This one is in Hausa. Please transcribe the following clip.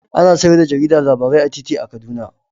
Ana sayar da jarida labarai a titi a Kaduna